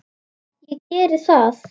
Ég geri það.